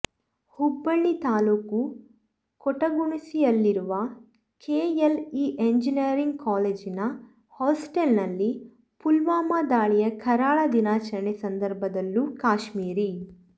ಹುಬ್ಬಳ್ಳಿ ತಾಲೂಕು ಕೊಟಗುಣಸಿಯಲ್ಲಿರುವ K L E engineering ಕಾಲೇಜಿನ hostel ನಲ್ಲಿ ಪುಲ್ವಾಮಾ ದಾಳಿಯ ಕರಾಳ ದಿನಾಚರಣೆ ಸಂದರ್ಭದಲ್ಲೂ ಕಾಶ್ಮೀರಿ